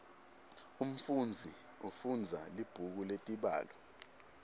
umfunzi ufundza libhuku letibalo